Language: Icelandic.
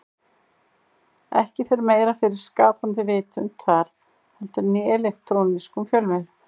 Ekki fer meira fyrir skapandi vitund þar heldur en í elektrónískum fjölmiðlum.